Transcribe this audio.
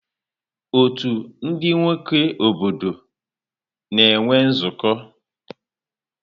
Ọ́tù ndị nwoke obodo na-enwe nzukọ.